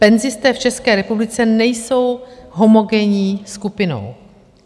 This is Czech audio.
Penzisté v České republice nejsou homogenní skupinou.